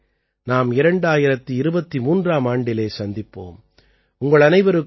அடுத்த முறை நாம் 2023ஆம் ஆண்டிலே சந்திப்போம்